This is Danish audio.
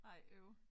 Ej øv